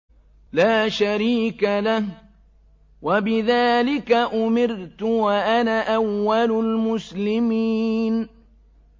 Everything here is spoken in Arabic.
لَا شَرِيكَ لَهُ ۖ وَبِذَٰلِكَ أُمِرْتُ وَأَنَا أَوَّلُ الْمُسْلِمِينَ